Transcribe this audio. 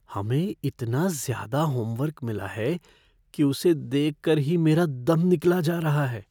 हमें इतना ज़्यादा होमवर्क मिला है कि उसे देख कर ही मेरा दम निकला जा रहा है।